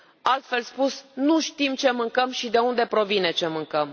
Altfel spus, nu știm ce mâncăm și de unde provine ce mâncăm.